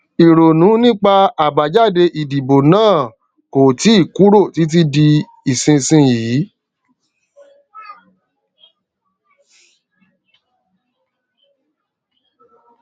ìrònú nípa àbájáde ìdìbò náà kò tíì kúrò títí di ìsinsìnyí